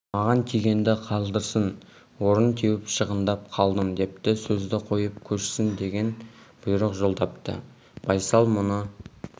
маған тигенді қалдырсын орын теуіп шығындап қалдым депті сөзді қойып көшсін деген бұйрық жолдапты байсал мұны